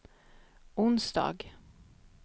onsdag